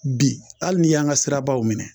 Bi hali n'i y'an ka sirabaw minɛ